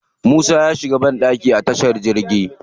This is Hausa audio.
Musa ya shiga banɗaki a tashar jirgi.